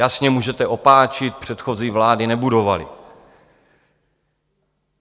Jasně, můžete opáčit, předchozí vlády nebudovaly.